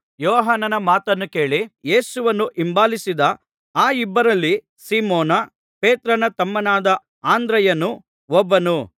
ಯೋಹಾನನ ಮಾತನ್ನು ಕೇಳಿ ಯೇಸುವನ್ನು ಹಿಂಬಾಲಿಸಿದ ಆ ಇಬ್ಬರಲ್ಲಿ ಸೀಮೋನ್ ಪೇತ್ರನ ತಮ್ಮನಾದ ಅಂದ್ರೆಯನು ಒಬ್ಬನು